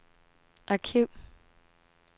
arkiv